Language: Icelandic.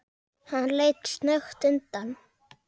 Hann leit snöggt undan.